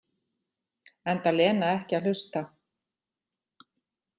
Enda Lena ekki að hlusta.